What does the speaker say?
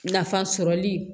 Nafa sɔrɔli